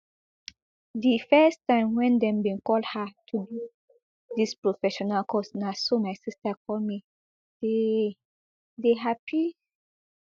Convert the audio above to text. di first time wen dem bin call her to do dis professional course na so my sister call me dey dey happy